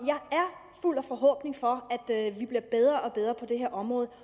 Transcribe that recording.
fuld af forhåbning om at vi bliver bedre og bedre på det her område